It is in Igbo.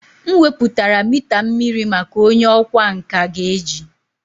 M weputara mita mmiri maka onye ọkwá nkà ga-eji.